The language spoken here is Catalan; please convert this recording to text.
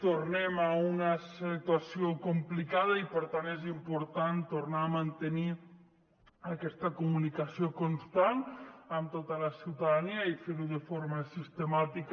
tornem a una situació complicada i per tant és important tornar a mantenir aquesta comunicació constant amb tota la ciutadania i fer ho de forma sistemàtica